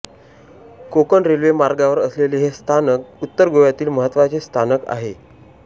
Konkan railway मार्गावर असलेले हे स्थानक उत्तर गोव्यातील महत्त्वाचे स्थानक आहे